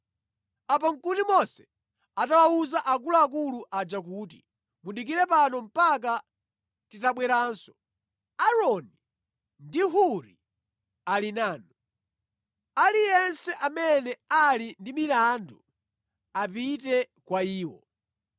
Apa nʼkuti Mose atawawuza akuluakulu aja kuti, “Mudikire pano mpaka titabweranso. Aaroni ndi Huri ali nanu, aliyense amene ali ndi milandu apite kwa iwo.”